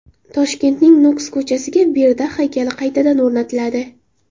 Toshkentning Nukus ko‘chasiga Berdaq haykali qaytadan o‘rnatiladi.